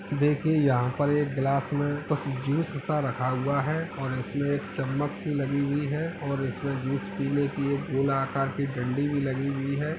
देखिये यहाँ पर एक ग्लास में कुछ जूस सा रखा हुआ है और इसमें एक चम्मच सी लगी हुई है और इसमें जूस पीने के लिए एक गोला आकार की डंडी भी लगी हुई है।